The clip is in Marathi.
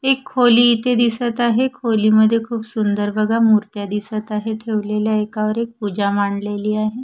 एक खोली इथे दिसत आहे खोलीमध्ये खूप सुंदर बघा मूर्त्या दिसत आहे ठेवलेल्या एकावर एक पूजा मांडलेली आहे.